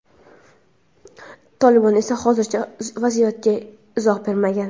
Tolibon esa hozircha vaziyatga izoh bermagan.